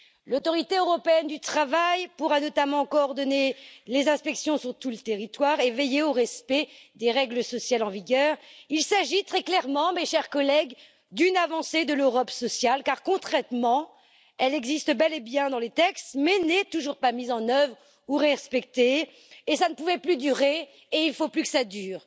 L'autorité européenne du travail pourra notamment coordonner les inspections sur tout le territoire et veiller au respect des règles sociales en vigueur. Il s'agit très clairement, mes chers collègues, d'une avancée de l'Europe sociale car, concrètement, elle existe bel et bien dans les textes, mais n'est toujours pas mise en œuvre ou respectée cela ne pouvait plus durer et il ne faut plus que cela dure!